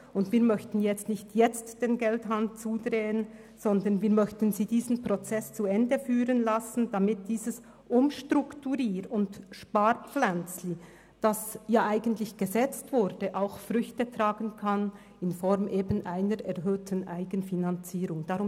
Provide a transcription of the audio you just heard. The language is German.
Deshalb möchten wir den Geldhahn jetzt nicht zudrehen, sondern wir möchten die Gartenbauschule diesen Prozess zu Ende führen lassen, damit dieses «Umstrukturierungs- und Sparpflänzchen», das da gesetzt wurde, auch Früchte in Form einer erhöhten Eigenfinanzierung tragen kann.